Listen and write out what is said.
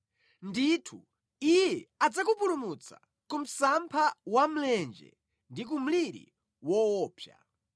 Ndithu, Iye adzakupulumutsa ku msampha wa mlenje ndi ku mliri woopsa;